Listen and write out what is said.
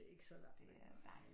Det er ikke så langt væk